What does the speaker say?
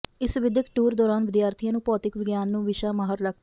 ਇਸ ਵਿਦਿਅਕ ਟੂਰ ਦੌਰਾਨ ਵਿਦਿਆਰਥੀਆਂ ਨੂੰ ਭੌਤਿਕ ਵਿਗਿਆਨ ਨੂੰ ਵਿਸ਼ਾ ਮਾਹਰ ਡਾ